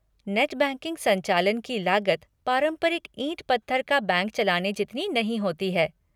Net banking संचालन की लागत पारंपरिक ईंट पत्थर का बैंक चलाने जितनी नहीं होती है।